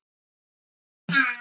Þau eru næst.